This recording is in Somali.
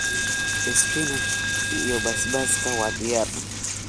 Spinach iyo basbaaska waa diyaar.